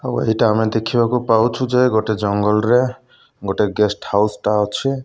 ଆଉ ଆମେ ଏଇଟା ଦେଖିବାକୁ ପାଉଛୁ ଯେ ଗୋଟେ ଜଙ୍ଗଲରେ ଗୋଟେ ଗେଷ୍ଟ୍ ହାଉସ୍ ଟା ଅଛି।